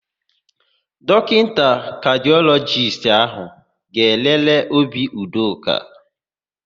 Dọkịta kadịọlọjist áhụ̀ ga-elele obi Udoka.